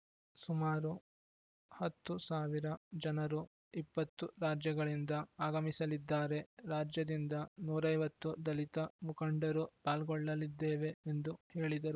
ಸುಮಾರು ಹತ್ತು ಸಾವಿರ ಜನರು ಇಪ್ಪತ್ತು ರಾಜ್ಯಗಳಿಂದ ಆಗಮಿಸಲಿದ್ದಾರೆ ರಾಜ್ಯದಿಂದ ನೂರ್ ಐವತ್ತು ದಲಿತ ಮುಖಂಡರು ಪಾಲ್ಗೊಳ್ಳಲಿದ್ದೇವೆ ಎಂದು ಹೇಳಿದರು